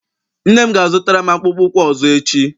Nne m ga- azụtara m akpụkpọ ụkwụ ọzọ echi.